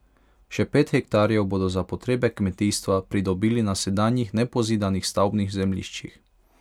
Še pet hektarjev bodo za potrebe kmetijstva pridobili na sedanjih nepozidanih stavbnih zemljiščih.